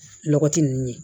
Lɔgɔti ninnu